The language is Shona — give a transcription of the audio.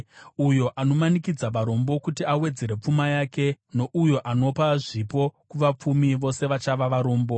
Uyo anomanikidza varombo kuti awedzere pfuma yake nouyo anopa zvipo kuvapfumi, vose vachava varombo.